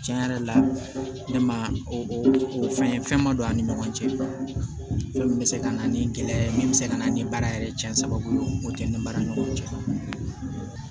Tiɲɛ yɛrɛ la ne ma o fɛn fɛn ma don an ni ɲɔgɔn cɛ yɔrɔ min bɛ se ka na ni gɛlɛya ye min bɛ se ka na ni baara yɛrɛ cɛnko ye o tɛ ni baara ni ɲɔgɔn cɛ